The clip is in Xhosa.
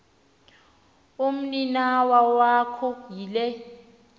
umninawa wakho yile